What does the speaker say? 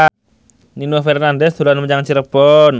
Nino Fernandez dolan menyang Cirebon